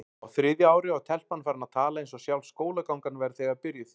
Á þriðja ári var telpan farin að tala eins og sjálf skólagangan væri þegar byrjuð.